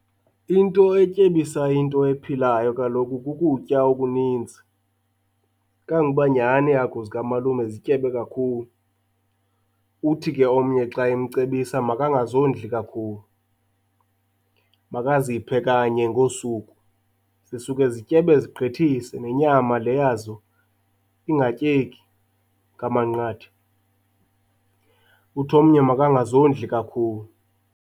Into etyebisa into ephilayo kaloku kukutya okuninzi, kanguba nyhani iihagu zikamalume zityebe kakhulu. Uthi ke omnye xa emcebisa makangazondli kakhulu, makaziphe kanye ngosuku, zisuke zityebe zigqithise nenyama le yazo ingatyeki ngamanqatha. Uthi omnye makangazondli kakhulu.